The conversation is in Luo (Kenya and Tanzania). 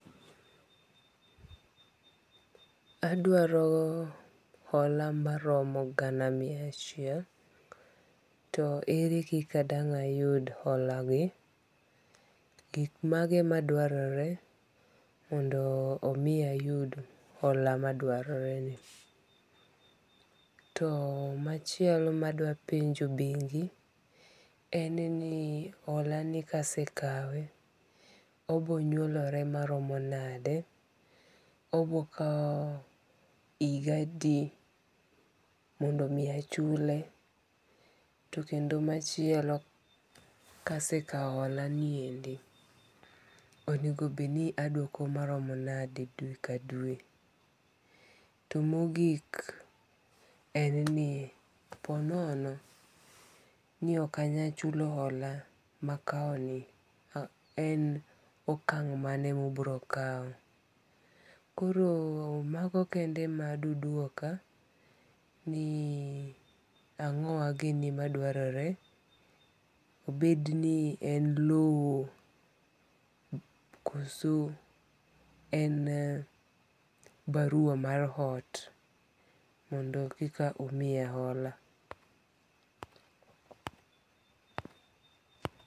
Adwaro hola maromo gana mia achiel, to ere kika dang' ayud holagi? gik mage madwarore mondo omi ayud hola ma dwaroreni? to machielo madwapenjo bengi' en ni holani kasekawe obiro nyuolore maromo nade? oboro kawo higa adi mondo mi achule? to kendo machielo kasekawo holaniendi onegobed ni adwoko maromo nade e dwe ka dwe? to mogik en ni po nono ni okanyal chulo hola makawoni en okang' mane ma ibiro kawoni? koro mago kende madudwoka ni angowa gini madwarore? obed ni en lowo koso en barua mar ot mondo eka umiya hola.